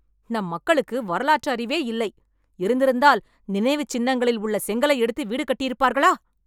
நம் மக்களுக்கு வரலாற்று அறிவே இல்லை, இருந்திருந்தால் நினைவுச் சின்னங்களில் உள்ள செங்கலை எடுத்து வீடு கட்டியிருப்பார்களா?